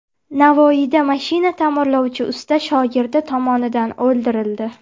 Navoiyda mashina ta’mirlovchi usta shogirdi tomonidan o‘ldirildi.